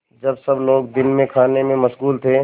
जब सब लोग दिन के खाने में मशगूल थे